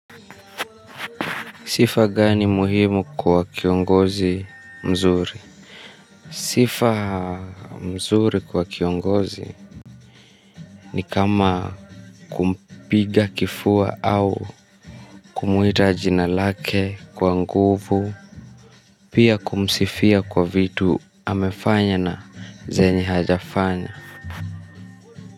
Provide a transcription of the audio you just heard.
Sifa gani muhimu kwa kiongozi mzuri. Sifa mzuri kwa kiongozi ni kama kupiga kifua au kumuita jina lake kwa nguvu. Pia kumsifia kwa vitu amefanya na zenye hajafanya. Kwa hivyo.